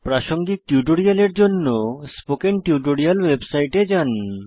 প্রাসঙ্গিক টিউটোরিয়ালের জন্য স্পোকেন টিউটোরিয়াল ওয়েবসাইটে যান